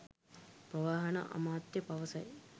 ප්‍රවාහන අමාත්‍ය පවසයි